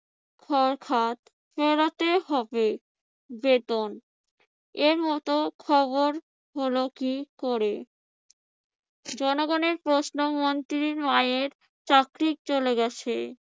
খরখাদ ফেরাতে হবে। বেতন এর মত খবর হলো কি করে? জনগণের প্রশ্ন মন্ত্রীর মায়ের চাকরি চলে গেছে।